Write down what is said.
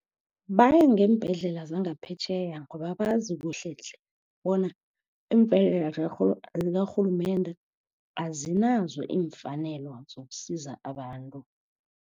Baya ngeembhedlela zangaphetjheya ngoba bazi kuhle tle bona iimbhedlela zikarhulumende azinazo iimfanelo sokusiza abantu.